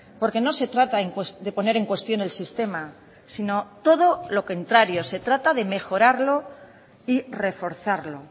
porque no se trata de poner en cuestión el sistema sino todo lo contrario se trata de mejorarlo y reforzarlo